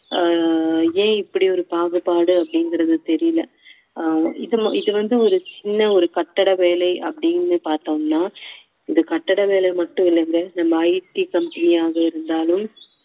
ஆஹ் ஏன் இப்படி ஒரு பாகுபாடு அப்படிங்குறது தெரியல ஆஹ் இது வந்து ஒரு சின்ன ஒரு கட்டட வேலை அப்படின்னு பார்த்தோம்னா இந்த கட்டட வேலை மட்டும் இல்லைங்க நம்ம IT company யாக இருந்தாலும்